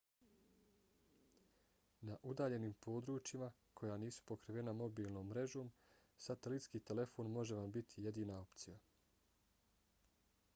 na udaljenim područjima koja nisu pokrivena mobilnom mrežom satelitski telefon može vam biti jedina opcija